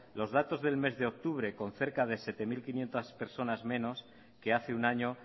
los datos del mes de octubre con cerca de siete mil quinientos personas menos que hace un año